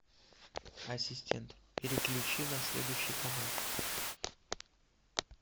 ассистент переключи на следующий канал